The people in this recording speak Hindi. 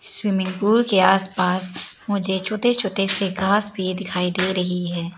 स्विमिंग पूल के आसपास मुझे छोटे छोटे से घास भी दिखाई दे रही है।